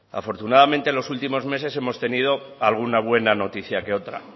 afortunadamente en los últimos meses hemos tenido alguna buena noticia que otra